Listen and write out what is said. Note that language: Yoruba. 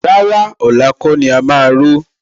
Rárá, ọ̀la kọ́ ni a máa ró